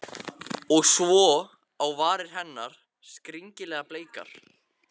Og svo á varir hennar, skringilega bleikar.